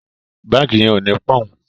Bánkì yen o ní poun